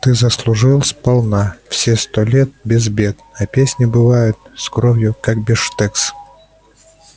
ты заслужил сполна все сто лет без бед а песни бывают с кровью как бифштекс